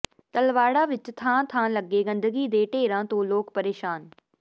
ਤਲਵਾੜਾ ਵਿੱਚ ਥਾਂ ਥਾਂ ਲੱਗੇ ਗੰਦਗੀ ਦੇ ਢੇਰਾਂ ਤੋਂ ਲੋਕ ਪ੍ਰੇਸ਼ਾਨ